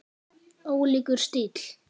Ólíkur stíll.